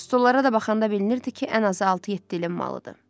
Stollara da baxanda bilinirdi ki, ən azı altı-yeddi ilin malıdır.